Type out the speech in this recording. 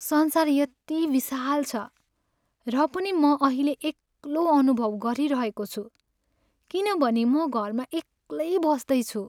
संसार यति विशाल छ र पनि म अहिले एक्लो अनुभव गरिरहेको छु किनभने म घरमा एक्लै बस्दैछु।